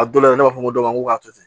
A dɔw la i b'a fɔ ko dɔ ma k'a to ten